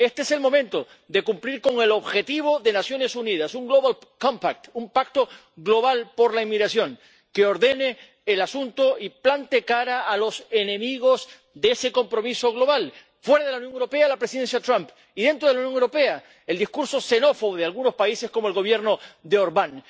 Este es el momento de cumplir con el objetivo de las Naciones Unidas un global compact un pacto global por la inmigración, que ordene el asunto y plante cara a los enemigos de ese compromiso global fuera de la Unión Europea, la presidencia Trump, y dentro de la Unión Europea, el discurso xenófobo de algunos países, como el del Gobierno de Orbán.